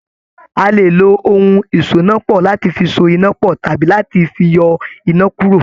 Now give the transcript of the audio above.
A lè lo ohun ìsonápọ̀ láti fi so iná pọ̀ tàbí láti fi yọ iná kúrò.